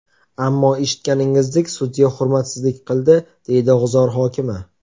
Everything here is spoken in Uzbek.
Ammo eshitganingizdek, sudya hurmatsizlik qildi”, deydi G‘uzor hokimi.